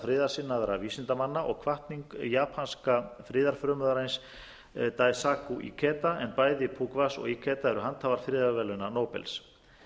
kanadísku samtaka friðarsinnaðra vísindamanna og hvatning japanska friðarfrömuðarins daisaku geta en bæði pukvas og geta eru handhafar friðarverðlauna nóbels